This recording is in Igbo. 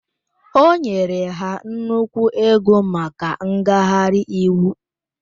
O nyere ha nnukwu ego maka ngagharị iwu